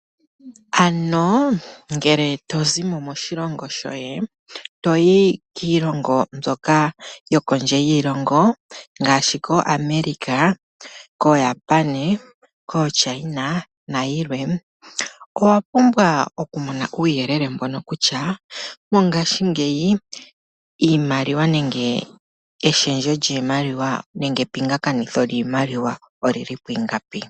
Ano ngele tozimo moshilongo shoye toyi kiilongo mbyoka yokondje yiilongo ngashi koAmerica, Japan, China nayilwe owa pumbwa okumona uuyelele mboka kutya mongashingeyi iimaliwa nenge eshendjo nemge epingathano lyiimaliwa olyili pwingapi.